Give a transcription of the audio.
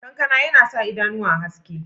Ƙankan yana sa idanuwa haske.